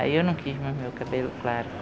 Aí eu não quis mais meu cabelo claro.